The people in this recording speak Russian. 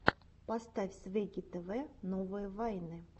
поставь свегги тв новые вайны